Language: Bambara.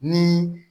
Ni